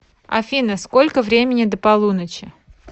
афина сколько времени до полуночи